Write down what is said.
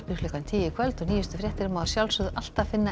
klukkan tíu í kvöld og nýjustu fréttir má alltaf finna